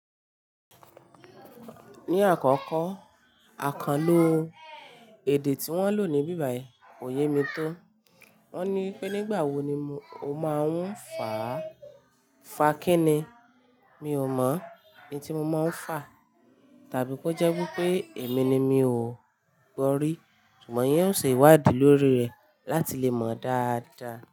Ní àkọ́kọ́, àkànlo èdè tí wọ́n lò ní bíbà yìí kò yé mi tó. Wọ́n ní pé nígbà wo ni mo máa ń fà, fà kí ni? Mi ò mọ̀ in tí mo máa ń fà. Tàbí ko jẹ́ wipé èmi ni mi ò gbọ́ rí, ṣùgbọ́n yín ó ṣe ìwádìí lórí rẹ̀ láti lè mọ̀ dáadáa.